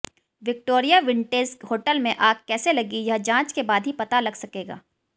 Victoria vintage hotel में आग कैसे लगी यह जांच के बाद ही पता लग सकेगा